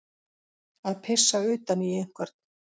Að pissa utan í einhvern